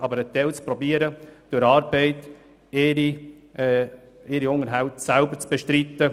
Ein Teil der Leute soll aber versuchen, durch Arbeit ihren Unterhalt selber zu bestreiten.